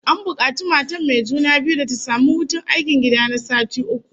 An bukaci matar mai juna biyu da ta samu hutun aikin gida na sati uku